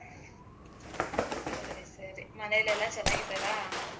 ಸರಿ ಸರಿ ಮನೆಲೆಲ್ಲಾ ಚೆನ್ನಾಗಿದ್ದಾರಾ?